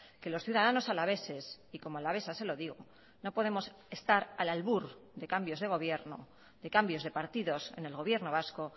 que los ciudadanos alaveses y como alavesa se lo digo no podemos estar al albur de cambios de gobierno de cambios de partidos en el gobierno vasco